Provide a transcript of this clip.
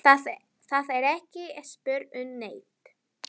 Það er ekki spurt um neitt.